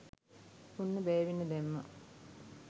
ඔන්න බෑවෙන්න දැම්මා